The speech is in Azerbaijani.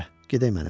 gedək mənimlə.